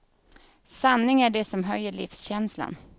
Sanning är det som höjer livskänslan.